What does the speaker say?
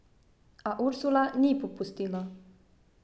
A Ursula ni popustila.